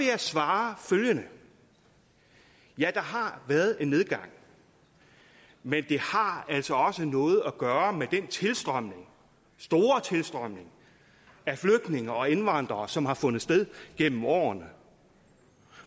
jeg svare følgende ja der har været en nedgang men det har altså også noget at gøre med den store tilstrømning af flygtninge og indvandrere som har fundet sted gennem årene